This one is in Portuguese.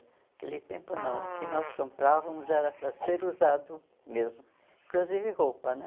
Naquele tempo não, o que nós comprávamos era para ser usado mesmo, inclusive roupa, né?